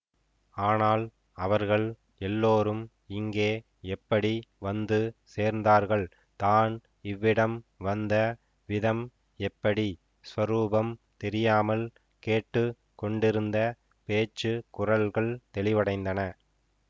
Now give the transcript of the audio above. ஆனால் அவர்கள் எல்லோரும் இங்கே எப்படி வந்து சேர்ந்தார்கள் தான் இவ்விடம் வந்த விதம் எப்படி ஸ்வரூபம் தெரியாமல் கேட்டு கொண்டிருந்த பேச்சு குரல்கள் தெளிவடைந்தன